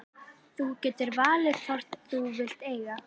Þú getur valið hvorn þú vilt eiga.